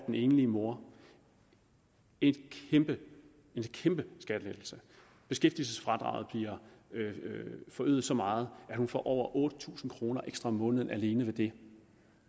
den enlige mor en kæmpe skattelettelse beskæftigelsesfradraget bliver forøget så meget at hun får over otte tusind kroner ekstra om måneden alene ved det